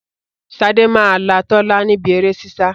Sade máa là Tola níbí èrè sísá